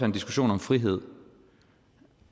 en diskussion om frihed